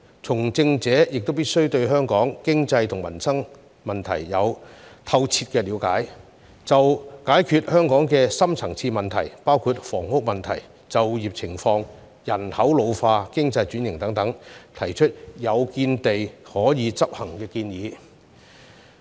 從政者亦必須對香港經濟和民生問題有透徹了解，就解決香港的深層次問題，包括房屋問題、就業情況、人口老化、經濟轉型等，提出有見地和可以執行的建議。